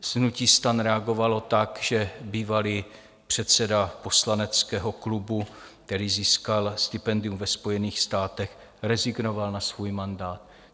Hnutí STAN reagovalo tak, že bývalý předseda poslaneckého klubu, který získal stipendium ve Spojených státech, rezignoval na svůj mandát.